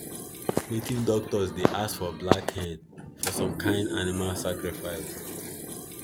native doctors dey ask for black hen for some kind animal sacrifice